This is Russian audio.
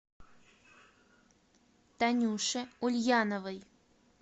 танюше ульяновой